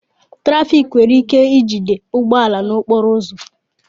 Trafik were ike ijide bọọ su n'okporo uzu